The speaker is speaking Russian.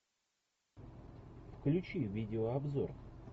включи видеообзор